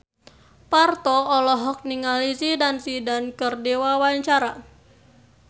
Parto olohok ningali Zidane Zidane keur diwawancara